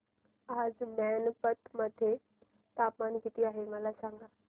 आज मैनपत मध्ये तापमान किती आहे मला सांगा